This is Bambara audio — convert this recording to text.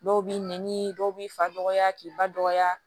Dɔw b'i nɛni dɔw b'i fa dɔgɔya k'i ba dɔgɔya